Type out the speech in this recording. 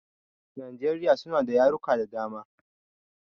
Najeriya suna da yarurruka da dama.